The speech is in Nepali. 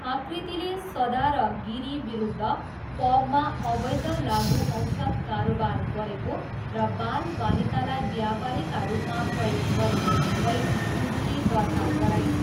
आकृतिले सदा र गिरी विरुद्ध पबमा अवैध लागुऔषध कारोबार गरेको र बालबालिकालाई ब्यापारीका रूपमा प्रयोग गरेको भन्दै उजुरी दर्ता गराइन्।